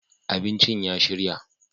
abincin ya shirya